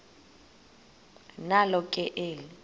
nalo ke eli